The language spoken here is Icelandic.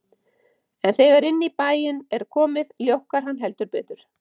En þegar inn í bæinn er komið, ljókkar hann heldur betur.